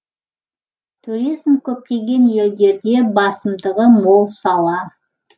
туризм көптеген елдерде басымдығы мол сала